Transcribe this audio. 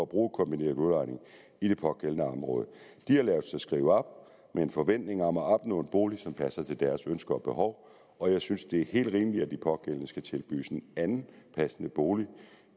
bruge kombineret udlejning i det pågældende område de har ladet sig skrive op med en forventning om at opnå en bolig som passer til deres ønsker og behov og jeg synes det er helt rimeligt at de pågældende skal tilbydes en anden passende bolig